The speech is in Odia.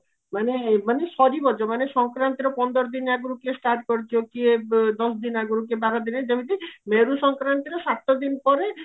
ମାନେ ମାନେ ସାରିବା ଯୋଉ ମାନେ ସଙ୍କରାନ୍ତିର ପନ୍ଦର ଦିନ ଆଗରୁ କିଏ start କରୁଥିବା କିଏ ଦଶ ଦିନ ଆଗରୁ କିଏ ବାର ଦିନ ଆଗରୁ ଯେମିତି ମେରୁ ସଙ୍କରାନ୍ତିର ସାତ ଦିନ ପରେ